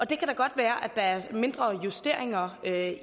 det kan da godt være at der er mindre justeringer af